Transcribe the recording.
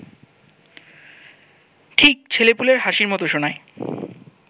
ঠিক ছেলেপুলের হাসির মতো শোনায়